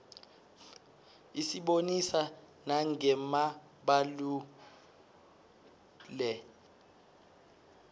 isibonisa nanqe mabalaue